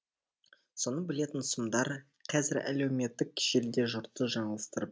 соны білетін сұмдар қазір әлеуметтік желіде жұртты жаңылыстырып бітті